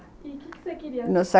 E o que você queria?